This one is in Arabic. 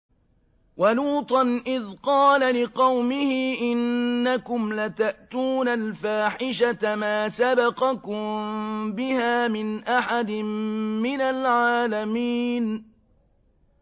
وَلُوطًا إِذْ قَالَ لِقَوْمِهِ إِنَّكُمْ لَتَأْتُونَ الْفَاحِشَةَ مَا سَبَقَكُم بِهَا مِنْ أَحَدٍ مِّنَ الْعَالَمِينَ